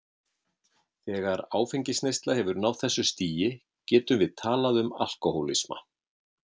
Þegar áfengisneysla hefur náð þessu stigi getum við talað um alkohólisma.